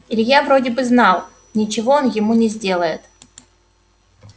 илья вроде бы знал ничего он ему не сделает